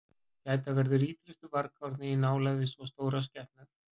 Gæta verður ítrustu varkárni í nálægð við svo stórar skepnur.